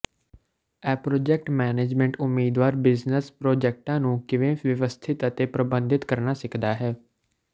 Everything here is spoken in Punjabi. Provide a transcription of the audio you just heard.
ਅਪ੍ਰੋਜੇਕਟ ਮੈਨੇਜਮੈਂਟ ਉਮੀਦਵਾਰ ਬਿਜ਼ਨਸ ਪ੍ਰੋਜੈਕਟਾਂ ਨੂੰ ਕਿਵੇਂ ਵਿਵਸਥਿਤ ਅਤੇ ਪ੍ਰਬੰਧਿਤ ਕਰਨਾ ਸਿੱਖਦਾ ਹੈ